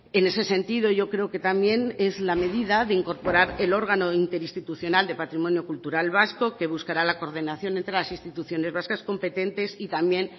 en ese sentido yo creo que también es la medida de incorporar el órgano interinstitucional de patrimonio cultural vasco que buscará la coordinación entre las instituciones vascas competentes y también